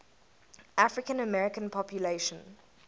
african american population